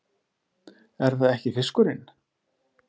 Er það ekki fiskurinn?